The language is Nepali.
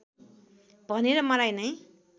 भनेर मलाई नै